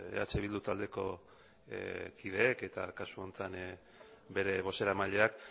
eh bildu taldeko kideek eta kasu honetan bere bozeramaileak